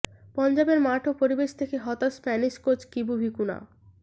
পঞ্জাবের মাঠ ও পরিবেশ দেখে হতাশ স্প্যানিশ কোচ কিবু ভিকুনা